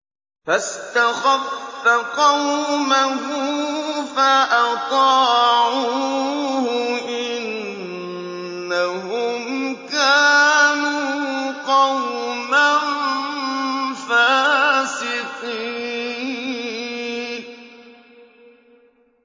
فَاسْتَخَفَّ قَوْمَهُ فَأَطَاعُوهُ ۚ إِنَّهُمْ كَانُوا قَوْمًا فَاسِقِينَ